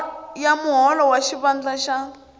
ya muholo wa xivandla xa